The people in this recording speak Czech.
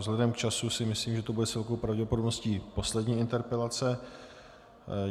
Vzhledem k času si myslím, že to bude s velkou pravděpodobností poslední interpelace.